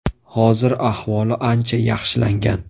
Hozir ahvoli ancha yaxshilangan.